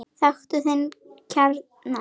Þekktu þinn kjarna!